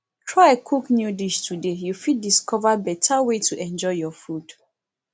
try cook new dish today you fit discover better way to enjoy your food